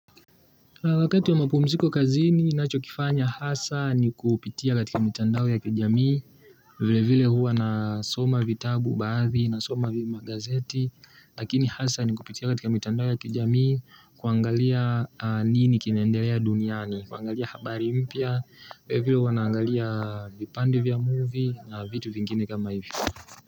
Wakati ya mapumziko kazini, nacho kifanya hasa ni kupitia katika mitandao ya kijamii, vile vile hua nasoma vitabu baadhi nasoma vimagazeti, lakini hasa ni kupitia katika mitandao ya kijamii kuangalia nini kinaendelea duniani, kuangalia habari mpya, vile hua naangalia vipande vya movie na vitu vingine kama hivyo.